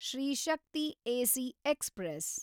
Shri Shakti AC express